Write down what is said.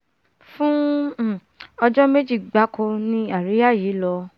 fún ọjọ́ méjì gbáko ni àríyá yìí lọ